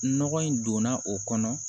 Nɔgɔ in donna o kɔnɔ